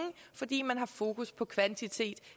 fordi man har fokus på kvantitet